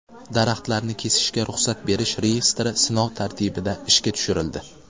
Daraxtlarni kesishga ruxsat berish reyestri sinov tartibida ishga tushirildi.